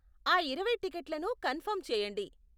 ఆ ఇరవై టిక్కెట్లను కన్ఫర్మ్ చెయ్యండి.